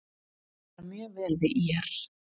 Mér líkar mjög vel í ÍR.